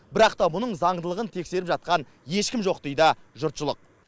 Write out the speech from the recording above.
бірақ та бұның заңдылығын тексеріп жатқан ешкім жоқ дейді жұртшылық